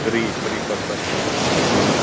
три три посадки на зоне